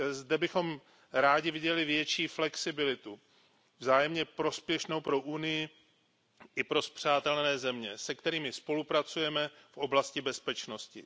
Zde bychom rádi viděli větší flexibilitu vzájemně prospěšnou pro Evropskou unii i pro spřátelené země, se kterými spolupracujeme v oblasti bezpečnosti.